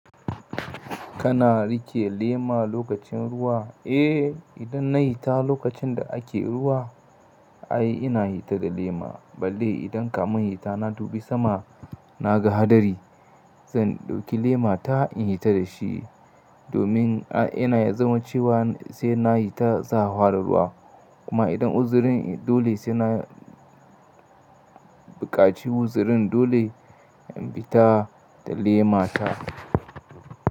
Kana riƙe lema lokacin ruwa? Eh, idan na yi hita lokacin da ake ruwa, ai ina hita da lema. Balle idan kamun hita na dubi sama na ga hadari, sai in ɗauki lema ta in hita da shi, domin ina ya zama cewa sai na yi ta tsawa da ruwa. Kuma idan uzirin dole sai na buƙaci wuzirin dole in fita da lema ta.